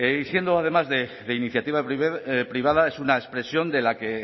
y siendo además de iniciativa privada es una expresión de que